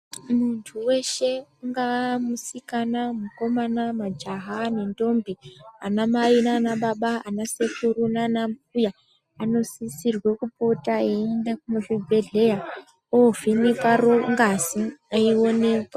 Muntu weshe ungaa musikana mukomana majaha nentombi anamai nanababa anasekuru nanambuya anosisire kupota eienda muzvibhedhlera ovheneka ngazi eioneka.